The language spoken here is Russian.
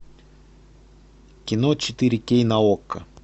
кино четыре кей на окко